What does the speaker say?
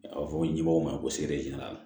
A bɛ fɔ nin ɲɛmɔgɔw ma ko